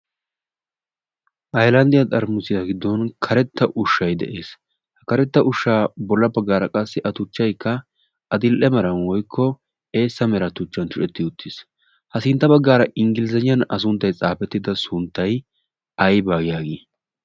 hailandiyaa xaramusiyaa giddon karetta ushshai de7ees. ha karetta ushshaa bolla baggaara qassi a tuchchaikka adil7e maran woikko eessa mera tuchchan tucetti uttiis. ha sintta baggaara inggilizaniyan a sunttai xaafettida sunttai aibaa yaagii?